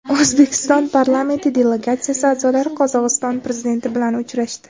O‘zbekiston parlamenti delegatsiyasi a’zolari Qozog‘iston prezidenti bilan uchrashdi.